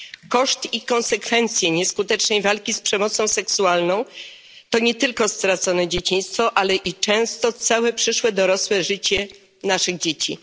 Koszt i konsekwencje nieskutecznej walki z przemocą seksualną to nie tylko stracone dzieciństwo, ale i często całe przyszłe dorosłe życie naszych dzieci.